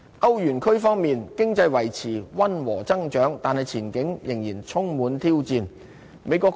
歐元區方面，經濟維持溫和增長，但前景仍然充滿挑戰。